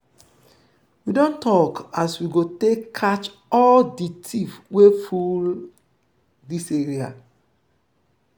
we don tok as we go take catch all di tiff wey full dis area.